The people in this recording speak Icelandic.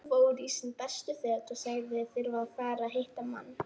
Hann fór í sín bestu föt og sagðist þurfa að fara og hitta mann.